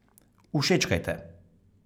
Všečkajte!